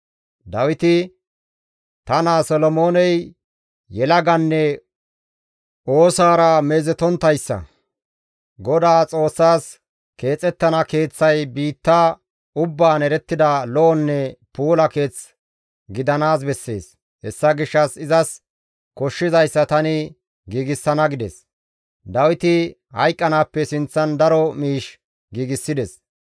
Dawiti, «Ta naa Solomooney yelaganne oosaara meezetonttayssa; Godaa Xoossaas keexettana keeththay biitta ubbaan erettida lo7onne puula keeth gidanaas bessees; hessa gishshas izas koshshizayssa tani giigsana» gides; Dawiti hayqqanaappe sinththan daro miish giigsides.